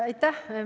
Aitäh!